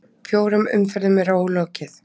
Fjórum umferðum er ólokið